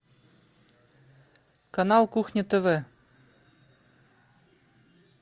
канал кухня тв